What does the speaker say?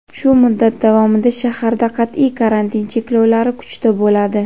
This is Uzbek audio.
Shu muddat davomida shaharda qat’iy karantin cheklovlari kuchda bo‘ladi.